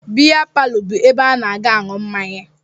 Bịa palọ bụ ebe a na-aga aṅụ mmanya